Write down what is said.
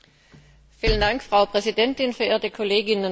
Frau Präsidentin, verehrte Kolleginnen und Kollegen!